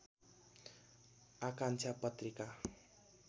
आकांक्षा पत्रिका